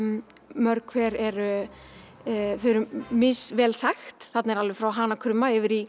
mörg hver eru þau eru misvel þekkt þarna eru alveg frá hana krumma yfir í